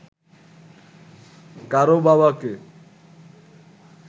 কারও বাবাকে